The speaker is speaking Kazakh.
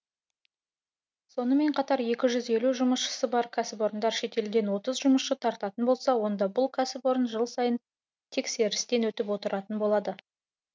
сонымен қатар екі жүз елу жұмысшысы бар кәсіпорындар шетелден отыз жұмысшы тартатын болса онда бұл кәсіпорын жыл сайын тексерістен өтіп отыратын болады